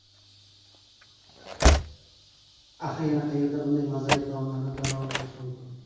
Axir yana qayerda bunday mazali taomlarni tanovul qilish mumkin?